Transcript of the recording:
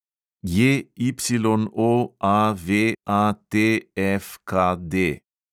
JYOAVATFKD